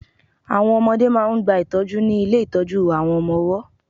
Àwọn ọmọdẹ́ máà ń gba ìtọ́jú ní ilé ìtọ́jú àwọn ọmọ ọwọ́.